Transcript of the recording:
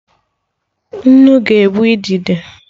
Nnu ga-egbu idide